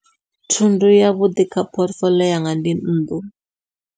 Thundu yavhuḓi kha phothifoḽio yanga ndi nnḓu.